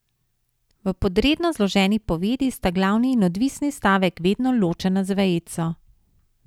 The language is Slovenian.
V podredno zloženi povedi sta glavni in odvisni stavek vedno ločena z vejico.